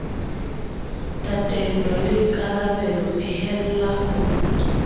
tatello le karabelo phehella ho